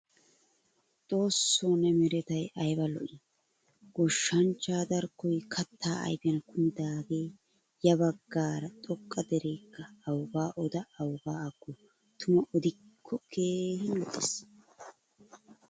Xoossoo ne meretay ayba lo''i? Goshshanchcha darkkoy katta ayfiyan kumidage ya baggara xoqqa derekka awuga ooda awuga aggo? Tuma odikko keehin lo'ees.